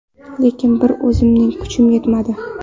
Lekin bir o‘zimning kuchim yetmadi.